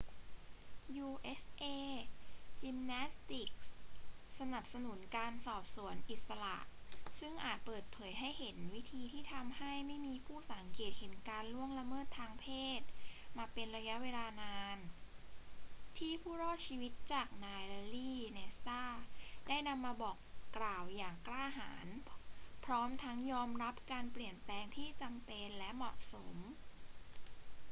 usa gymnastics สนับสนุนการสอบสวนอิสระซึ่งอาจเปิดเผยให้เห็นวิธีที่ทำให้ไม่มีผู้สังเกตเห็นการล่วงละเมิดทางเพศมาเป็นระยะเวลานาน ที่ผู้รอดชีวิตจากนายแลร์รี แนสซาร์ได้นำมาบอกกล่าวอย่างกล้าหาญ พร้อมทั้งยอมรับการเปลี่ยนแปลงที่จำเป็นและเหมาะสม